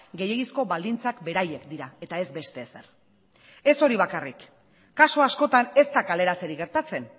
gehiegizko baldintzak beraiek dira eta ez beste ezer ez hori bakarrik kasu askotan ez da kaleratzerik gertatzen